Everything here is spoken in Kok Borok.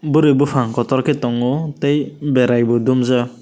burui buphang kotorkhe tongo tei berai bo dumjak.